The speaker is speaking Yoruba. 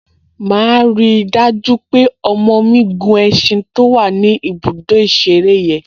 Màá rí i dájú pé ọmọ mi gun ẹṣin to wà ní ibùdó ìṣeré yẹn